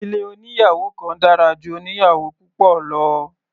Ilé oníyàwò kan dára ju oníyàwò púpọ̀ lọ.